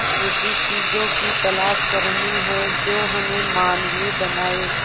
ऐसी चीजों की तलाश करनी है जो हमें मानवीय बनाएं